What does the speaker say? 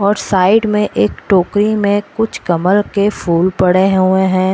और साइड में एक टोकरी में कुछ कमल के फूल पड़े हुए हैं।